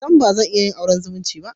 Sam! Bazan iya yin auren zumunci